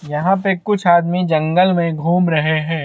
यहाँ पे कुछ आदमी जंगल में घूम रहे है।